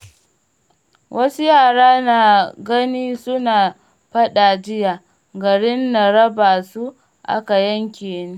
Wasu yara na gani suna faɗa jiya, garin na raba su aka yanke ni.